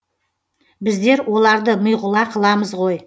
біздер оларды миғұла қыламыз ғой